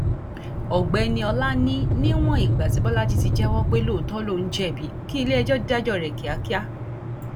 ọgbẹni ọlá ní níwọn ìgbà tí bọlajì ti jẹwọ pé lóòótọ lòún jẹbi kí iléẹjọ dájọ rẹ kíákíá